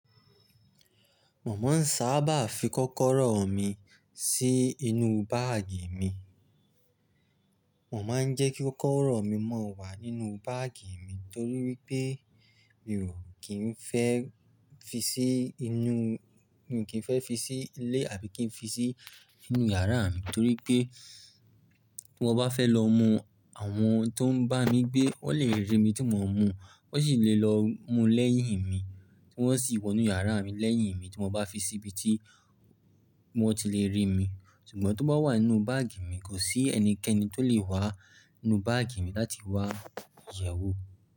Mo máa ń sáábà fi kọ́kọ́rọ́ mi sí inú báàgì mi. Mo máa ń jẹ́ kí kọ́kọ́rọ́ mi maa wà nínú báàgì mi torí pé mi ò kí ń fẹ́ fi sí inú, mi ò kí ń fẹ́ fi sí ilé àbí kí ń fi sí inú yàrá mi torí pé. Bí mo bá fẹ́ lọ mú, àwọn tó ń bá mi gbé, wọ́n lè rí mi tí mo ń mú, wọ́n sì lè lọ mú lẹ́yìn mi, kí wọ́n sì wọ nú yàrá mi lẹ́yìn mi, tí mo bá fi síbi tí wọ́n ti lè rí mi. Ṣùgbọ́n tó bá wà nínú báàgì mi, kò sí ẹnikẹ́ni tó lè wá nú báàgì mi láti wá yẹ̀ẹ́ wò.